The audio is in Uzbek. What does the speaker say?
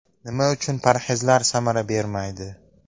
Nima uchun parhezlar samara bermaydi?.